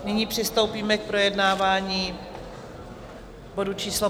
Nyní přistoupíme k projednávání bodu číslo